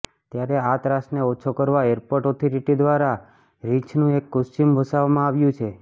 ત્યારે આ ત્રાસને ઓછો કરવા એરપોર્ટ ઓથોરિટી દ્વારા રિંછનું એક કોસ્ચ્યુમ વસાવવામાં આવ્યું છે